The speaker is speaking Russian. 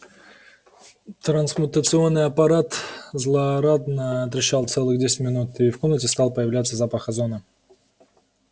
трансмутационный аппарат злорадно трещал целых десять минут и в комнате стал появляться запах озона